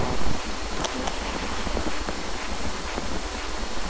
Það er alltaf einhver sem fer vel út úr vitleysunni.